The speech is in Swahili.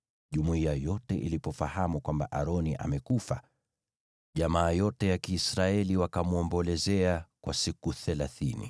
Jumuiya yote ilipofahamu kwamba Aroni amekufa, jamaa yote ya Kiisraeli wakamwomboleza kwa siku thelathini.